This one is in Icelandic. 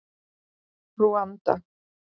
Rúanda